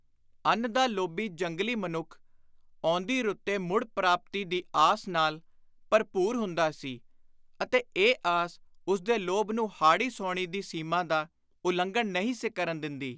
ਅੰਨ ਦਾ ਲੋਭੀ ਜੰਗਲੀ ਮਨੁੱਖ ਆਉਂਦੀ ਰੁੱਤੇ ਮੁੜ ਪ੍ਰਾਪਤੀ ਦੀ ਆਸ ਨਾਲ ਭਰਪੁਰ ਹੁੰਦਾ ਸੀ ਅਤੇ ਇਹ ਆਸ ਉਸਦੇ ਲੋਭ ਨੂੰ ਹਾੜੀ ਸੌਣੀ ਦੀ ਸੀਮਾ ਦਾ ਉਲੰਘਣ ਨਹੀਂ ਸੀ ਕਰਨ ਦਿੰਦੀ।